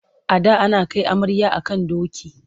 A da ana kai amarya a kan doki.